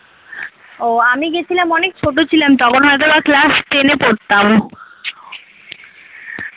ও আমি গেছিলাম অনেক ছোট ছিলাম তখন হয়ত বা class ten এ পড়তাম